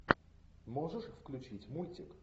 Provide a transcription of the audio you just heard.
можешь включить мультик